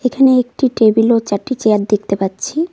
এখানে একটি টেবিল ও চারটি চেয়ার দেখতে পাচ্ছি।